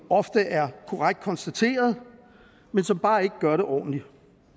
ofte er korrekt konstateret men som bare ikke gør det ordentligt